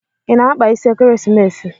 I na-akpa isi ekeresimesi?